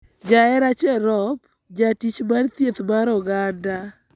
Jahera Cherop, jatich mar thieth mar oganda